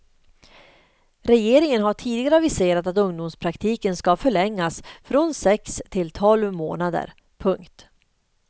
Regeringen har tidigare aviserat att ungdomspraktiken ska förlängas från sex till tolv månader. punkt